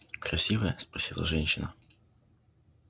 красивая спросила женщина